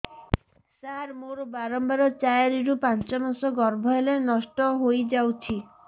ସାର ମୋର ବାରମ୍ବାର ଚାରି ରୁ ପାଞ୍ଚ ମାସ ଗର୍ଭ ହେଲେ ନଷ୍ଟ ହଇଯାଉଛି